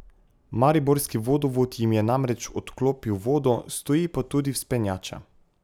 Mariborski vodovod jim je namreč odklopil vodo, stoji pa tudi vzpenjača.